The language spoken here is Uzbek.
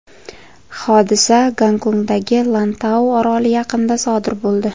Hodisa Gongkongdagi Lantau oroli yaqinida sodir bo‘ldi.